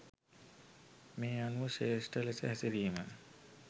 මේ අනුව ශ්‍රේෂ්ඨ ලෙස හැසිරීම